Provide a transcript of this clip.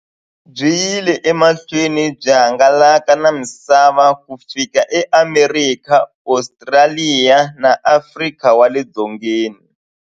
Byi yile emahlweni byi hangalaka na misava ku fika e Amerika, Ostraliya na Afrika wale dzongeni.